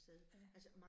Ja